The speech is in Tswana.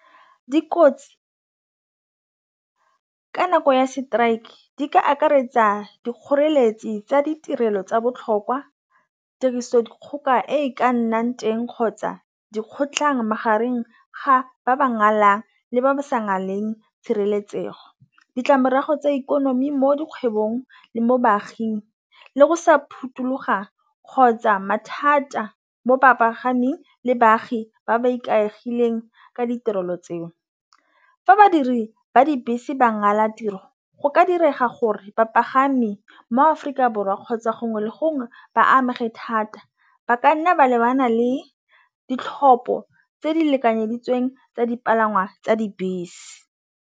Dikotsi ka nako ya strike di ka akaretsa dikgoreletsi tsa ditirelo tsa botlhokwa tirisodikgoka e ka nnang teng kgotsa dikgotlhang magareng ga ba ba ngwala le ba ba sa naleng tshireletsego. Ditlamorago tsa ikonomi mo dikgwebong le mo baaging le go sa phuthuloga kgotsa mathata mo bapagaming le baagi ba ba ikaegileng ka ditirelo tseo fa badiri ba dibese ba ngwala tiro go ka direga gore bapagami mo-Aforika Borwa kgotsa gongwe le gongwe ba amega thata ba ka nna ba lebana le ditlhopho tse di lekanyeditsweng tsa dipalangwa tsa dibese.